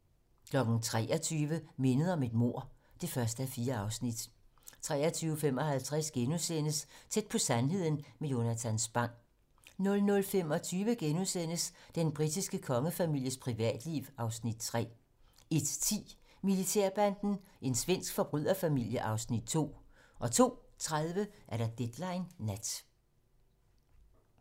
23:00: Mindet om et mord (1:4) 23:55: Tæt på sandheden med Jonatan Spang * 00:25: Den britiske kongefamilies privatliv (Afs. 3)* 01:10: Militærbanden - en svensk forbryderfamilie (Afs. 2) 02:30: Deadline nat